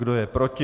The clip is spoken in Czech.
Kdo je proti?